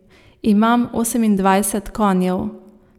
Ima osemindvajset konjev.